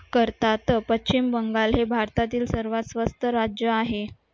करतात पश्चिम बंगाल हे भारतातील सर्वात स्वस्त राज्य आहे